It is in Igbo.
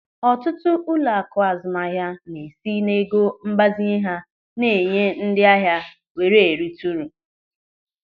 Ọtụtụ ụlọaku azụmahịa na-esi n'ego mgbazinye ha na-enye ndị ahịa were erita uru.